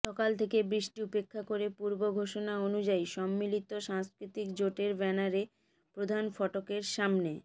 সকাল থেকে বৃষ্টি উপেক্ষা করে পূর্ব ঘোষণা অনুযায়ী সম্মিলিত সাংস্কৃতিক জোটের ব্যানারে প্রধান ফটকের সামনে